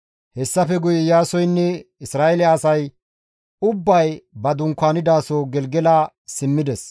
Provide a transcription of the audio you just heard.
Hessafe guye Iyaasoynne Isra7eele asay ubbay ba dunkaanidaso Gelgela simmides.